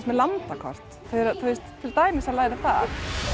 með landakort þau eru til dæmis að læra það